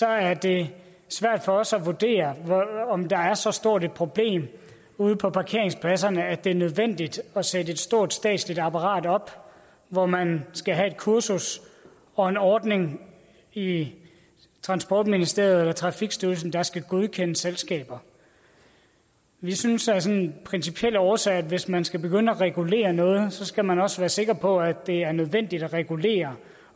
er det svært for os at vurdere om der er så stort et problem ude på parkeringspladserne at det er nødvendigt at sætte et stort statsligt apparat op hvor man skal have et kursus og en ordning i i transportministeriet eller trafikstyrelsen der skal godkende selskaber vi synes sådan af principielle årsager at hvis man skal begynde at regulere noget skal man også være sikker på at det er nødvendigt at regulere